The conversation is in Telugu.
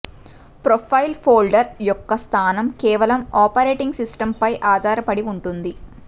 ప్రొఫైల్ ఫోల్డర్ యొక్క స్థానం కేవలం ఆపరేటింగ్ సిస్టమ్పై ఆధారపడి ఉంటుంది